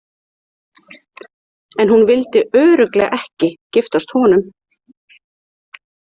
En hún vildi örugglega ekki giftast honum.